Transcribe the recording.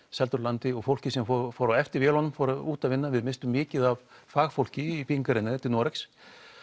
seldar úr landi og fólkið sem fór fór á eftir vélunum fór út að vinna við misstum mikið af fagfólki í byggingariðnaði til Noregs